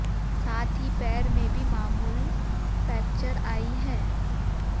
साथ ही पैर में भी मामलू फ्रैक्चर आई है